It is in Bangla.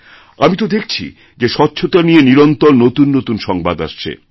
আমি তোদেখছি যে স্বচ্ছতা নিয়ে নিরন্তর নতুন নতুন সংবাদ আসছে